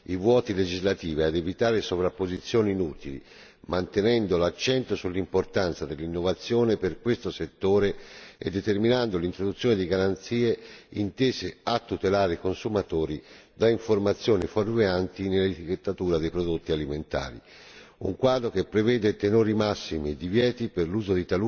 Si è quindi messo a punto un quadro giuridico rivolto a colmare i vuoti legislativi e a evitare sovrapposizioni inutili, mantenendo l'accento sull'importanza dell'innovazione per questo settore e determinando l'introduzione di garanzie intese a tutelare i consumatori da informazioni fuorvianti nell'etichettatura dei prodotti alimentari.